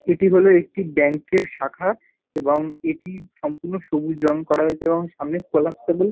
এটি হল একটি ব্যাংক -এর শাখা এবং এটি সম্পূর্ণ সবুজ রঙ করা হয়েছে এবং সামনে কোলাপসেবল --